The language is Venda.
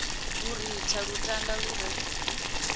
lu ritha lutanda lu re